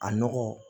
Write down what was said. A nɔgɔ